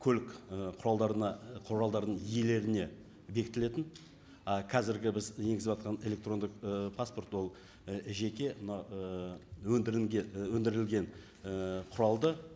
көлік і құралдарына і құралдарының иелеріне бекітілетін ы қазіргі біз енгізіватқан электрондық ы паспорт ол і жеке мынау ы өндірілген і құралды